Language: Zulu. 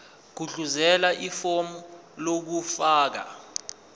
gudluzela ifomu lokufaka